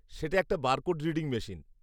সেটা একটা barcode reading machine.